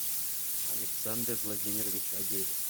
александр владимирович агеев